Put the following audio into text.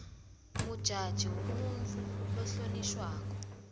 mujaji ngumuntfu lohloniswako